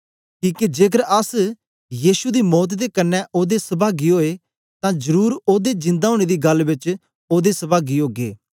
किके जेकर अस यीशु दी मौत दे क्न्ने ओदे सभागी ओए तां जरुर ओदे जिंदा ओनें दी गल्ल बेच ओदे सभागी ओगे